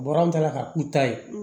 Bɔrɔ ta ka k'u ta ye